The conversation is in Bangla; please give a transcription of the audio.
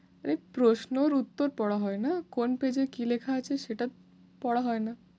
এই প্রশ্নর উত্তর পড়া হয়না, কোন page এ কী লেখা আছে সেটা পড়া হয়না।